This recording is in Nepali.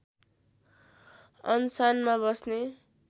अनसनमा बस्ने